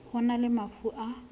ho na le mafu a